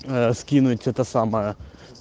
ээ скинуть это самое